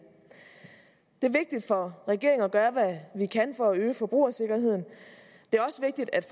er vigtigt for regeringen at gøre hvad vi kan for at øge forbrugersikkerheden det er også vigtigt at